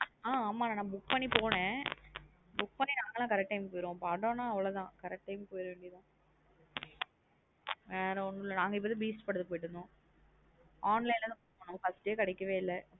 ஹ ஆமா நா நாங்க book பண்ணி போனே book பண்ணி நாங்கெல்லாம் correct time க்கு போயிருவோம் படம்ன அவ்ளோதான் correct time க்கு போயரவேண்டியது தான் வேற ஒண்னும் இல்ல நா நாங்க இப்போ தான். நாங்க இப்பா தான் beast படதுக்கு போய்யிடு வந்தோம் online லாம் போனோம் first day கிடைக்க வே இல்லா.